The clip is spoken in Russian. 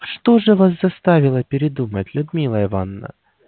что же вас заставило передумать людмила ивановна